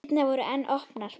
Dyrnar voru enn opnar.